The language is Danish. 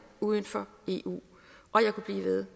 uden for eu og jeg kunne blive ved